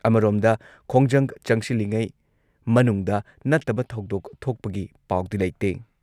ꯑꯃꯔꯣꯝꯗ, ꯈꯣꯡꯖꯪ ꯆꯪꯁꯤꯜꯂꯤꯉꯩ ꯃꯅꯨꯡꯗ ꯅꯠꯇꯕ ꯊꯧꯗꯣꯛ ꯊꯣꯛꯄꯒꯤ ꯄꯥꯎꯗꯤ ꯂꯩꯇꯦ꯫